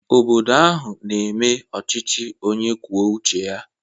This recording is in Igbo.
Obodo ahụ na-eme ọchịchị onye kwuo uche ya